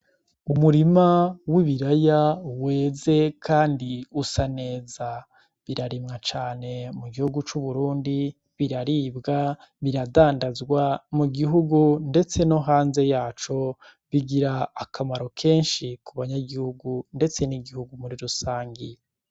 Umurima w'ibiraya weze kandi usa neza. Birarimwa cane mu gihugu c'Uburundi, biraribwa, biradandazwa mu gihugu ndetse no hanze yaco. Bigira akamaro kenshi ku ba nyagihugu ndetse n' igihugu muri rusangi.